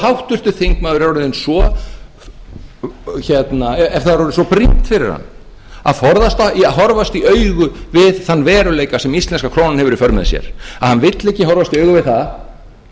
það er orðið svo brýnt eftir háttvirtan þingmann að forðast að horfast í augu við þann veruleika sem íslenska krónan hefur í för með sér að hann vill ekki horfast í augu við það